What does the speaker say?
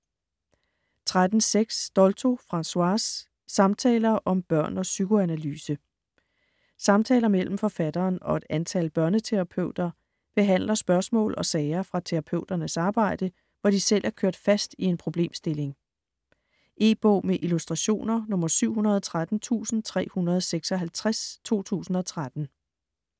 13.6 Dolto, Françoise: Samtaler om børn og psykoanalyse Samtaler mellem forfatteren og et antal børneterapeuter behandler spørgsmål og sager fra terapeuternes arbejde, hvor de selv er kørt fast i en problemstilling. E-bog med illustrationer 713356 2013.